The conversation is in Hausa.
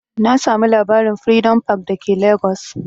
Na samu labarin'Freedom park' da ke legas